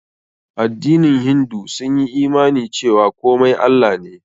Addinin hindu sun yi imani cewa komai Allah ne.